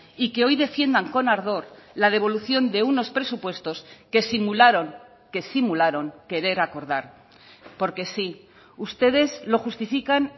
y que hoy defiendan con ardor la devolución de unos presupuestos que simularon que simularon querer acordar porque sí ustedes lo justifican